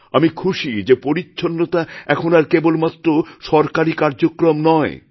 আমি খুশি যে পরিচ্ছন্নতা এখন আর কেবলমাত্র সরকারী কার্যক্রম নয়